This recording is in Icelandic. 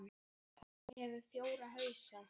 Óli hefur fjóra hausa.